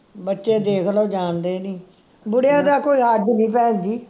ਬੱਚੇ ਦੇਖ ਲੋ ਜਾਣਦੇ ਨਹੀਂ ਬੁਢਿਆਂ ਦਾ ਕੋਈ ਨਹੀਂ ਭੈਣਜੀ